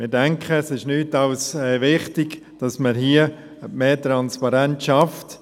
Wir denken, es ist nichts als wichtig, dass man hier mehr Transparenz schafft.